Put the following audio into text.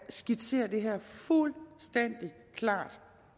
skitsere det her fuldstændig klart